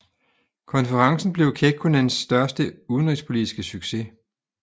Konferencen blev Kekkonens største udenrigspolitiske succes